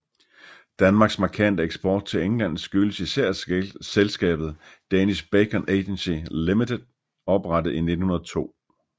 Danmarks markante eksport til England skyldes især selskabet Danish Bacon Agency Limited oprettet i 1902